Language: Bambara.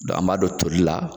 an b'a don toli la